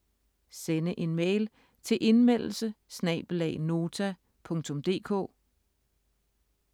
Sende en mail til indmeldelse@nota.dk